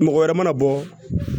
Mɔgɔ wɛrɛ mana bɔ